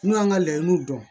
N'u y'an ka layiniw dɔn